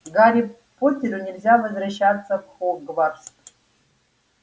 гарри поттеру нельзя возвращаться в хогвартс